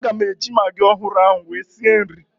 Aga m eji magị ọhụrụ ahụ wee sie nri